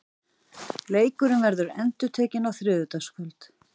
Leikurinn verður endurtekinn á þriðjudagskvöld.